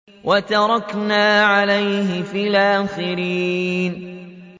وَتَرَكْنَا عَلَيْهِ فِي الْآخِرِينَ